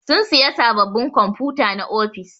Sun siƴa saɓɓaɓin kwamfuta na ofis.